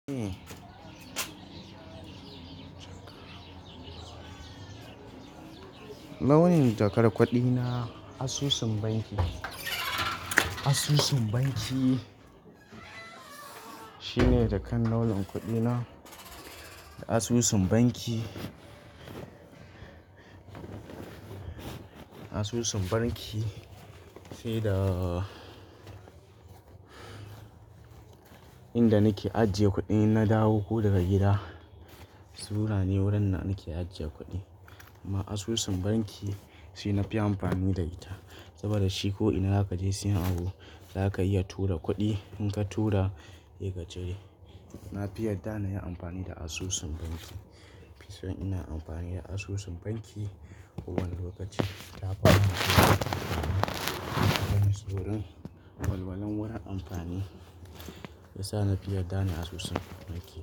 Launin jakar kudi na, asusun banki. Asusun banki shine jakan launin kuɗina. Asusun banki, asusun banki shi da inda nake ajiye kuɗin in na dawo ko daga gida. Sura ne wurin na nake ajiye kuɗi. Amma asusun banki shi na fi amfani da ita, saboda shi ko ina zaka je siyan abu zaka iya tura kuɗi. In ka tura, sai ka cire. Na fi yarda na yi amfani da asusun banki. Na fi son ina amfani da asusun banki a kowane lokaci. Ta bani saukin amfani. Wurin walwalan wurin amfani ya sa na fi yarda da asusun banki.